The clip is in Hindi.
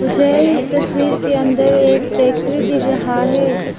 मुझे इस तस्वीर के अंदर एक फैक्ट्री दिख रहा है।